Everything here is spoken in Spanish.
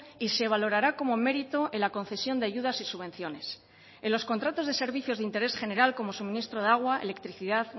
y se valorará como mérito en la concesión de ayudas y subvenciones en los contratos de servicios de interés general como suministro de agua electricidad